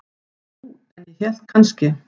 Ja, jú, en ég hélt kannski.